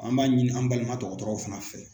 An b'a ɲini an balima dɔgɔtɔrɔw fana fɛ.